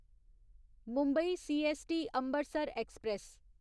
Mumbai CST Ambarsar express